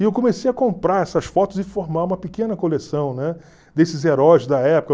E eu comecei a comprar essas fotos e formar uma pequena coleção desses heróis da época.